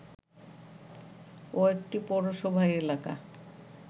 ও একটি পৌরসভা এলাকা